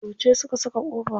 Yauce su ka saka kofa?